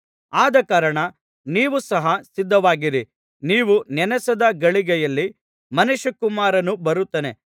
ಆದಕಾರಣ ನೀವು ಸಹ ಸಿದ್ಧವಾಗಿರಿ ನೀವು ನೆನಸದ ಗಳಿಗೆಯಲ್ಲಿ ಮನುಷ್ಯಕುಮಾರನು ಬರುತ್ತಾನೆ